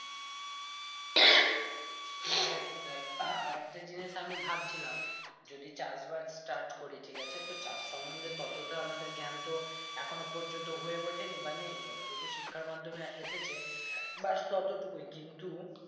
আরেকটা জিনিস আমি ভাব ছিলাম যদি চাষবাস start করি ঠিক আছে তো চাষ সম্বন্ধে তত তা আমাদের জ্ঞান তো এখনো পর্যন্ত হয়ে উঠেনি বা নেই যত টুকু শিক্ষার মাধ্যমে এসেছে বাস টোটো টুকুই কিন্তু